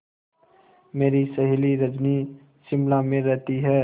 मेरी सहेली रजनी शिमला में रहती है